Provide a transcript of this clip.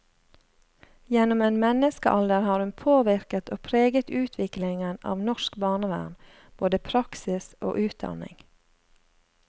Gjennom en menneskealder har hun påvirket og preget utviklingen av norsk barnevern, både praksis og utdanning.